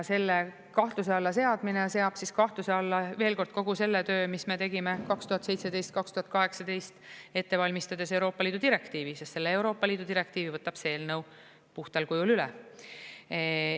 Selle kahtluse alla seadmine seab kahtluse alla, veel kord, kogu selle töö, mis me tegime 2017–2018 ette valmistades Euroopa Liidu direktiivi, sest selle Euroopa Liidu direktiivi võtab see eelnõu puhtal kujul üle.